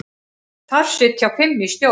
Þar sitja fimm í stjórn.